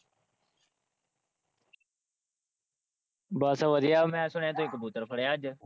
ਬਸ ਬੜੀਆਂ ਮੈ ਸੁਣਿਆ ਤੁਸੀਂ ਕਬੂਤਰ ਫੜਿਆ ਅੱਜ।